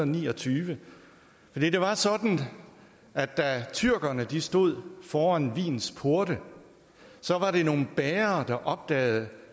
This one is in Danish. ni og tyve det var sådan at da tyrkerne stod foran wiens porte var det nogle bagere der opdagede